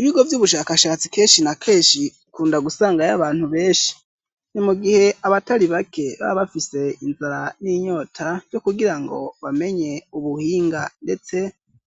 Ibigo vy'ubushakashatsi kenshi na kenshi ikunda gusangayo abantu benshi. Ni mu gihe abatari bake ba bafise inzara n'inyota cyo kugira ngo bamenye ubuhinga ndetse